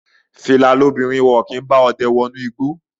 Fìlà lobìnrin, wọn kì í bá ọdẹ wọ ìtí.